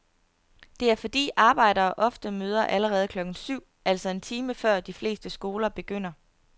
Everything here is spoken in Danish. Det er fordi arbejdere ofte møder allerede klokken syv, altså en time før de fleste skoler begynder.